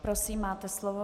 Prosím, máte slovo.